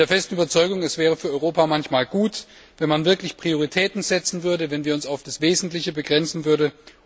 Ich bin der festen Überzeugung, dass es für Europa manchmal gut wäre, wenn man wirklich Prioritäten setzen würde, wenn wir uns auf das Wesentliche begrenzen würden.